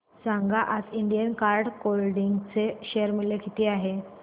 सांगा आज Indian card clothing चे शेअर मूल्य किती आहे